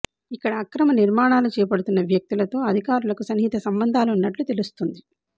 ఇక్కడ అక్రమ నిర్మాణాలు చేపడుతున్న వ్యక్తులతో అధికారులకు సన్నిహిత సంబందాలున్నట్టు తెలుస్తుంది